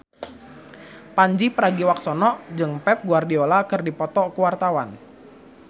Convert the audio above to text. Pandji Pragiwaksono jeung Pep Guardiola keur dipoto ku wartawan